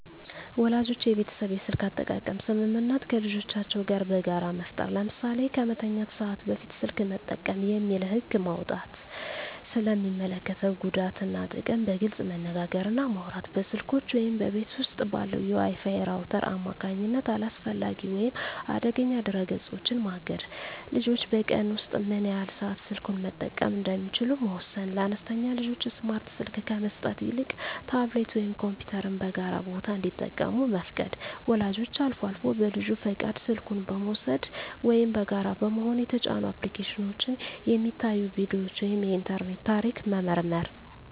ወላጆች የቤተሰብ የስልክ አጠቃቀም ስምምነት ከልጆቻቸው ጋር በጋራ መፍጠር። ለምሳሌ "ከመተኛት ሰዓት በፊት ስልክ መጠቀም የለም" የሚል ህግ መውጣት። ስለ ሚስከትለው ጉዳት እና ጥቅም በግልፅ መነጋገር እና ማውራት። በስልኮች ወይም በቤት ውስጥ ባለው የWi-Fi ራውተር አማካኝነት አላስፈላጊ ወይም አደገኛ ድረ-ገጾችን ማገድ። ልጆች በቀን ውስጥ ምን ያህል ሰዓት ስልኩን መጠቀም እንደሚችሉ መወሰን። ለአነስተኛ ልጆች ስማርት ስልክ ከመስጠት ይልቅ ታብሌት ወይም ኮምፒውተርን በጋራ ቦታ እንዲጠቀሙ መፍቀድ። ወላጆች አልፎ አልፎ በልጁ ፈቃድ ስልኩን በመውሰድ (ወይም በጋራ በመሆን) የተጫኑ አፕሊኬሽኖች፣ የሚታዩ ቪዲዮዎች ወይም የኢንተርኔት ታሪክ መመርመር።